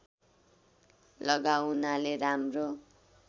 लगाउनाले राम्रो